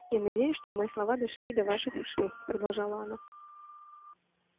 я надеюсь что мои слова дошли и до ваших ушей продолжала она